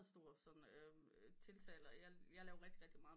Stor sådan tiltaler jeg laver rigtig rigtig meget